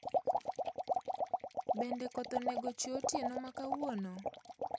Bende koth onego chwe otieno makawuono